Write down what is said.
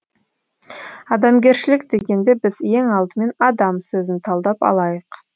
адамгершілік дегенде біз ең алдымен адам сөзін талдап алайық